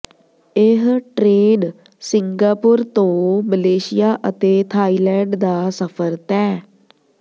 ਇਹ train Singapore ਤੋਂ Malaysia ਅਤੇ ਥਾਈਲੈਂਡ ਦਾ ਸਫਰ ਤੈਅ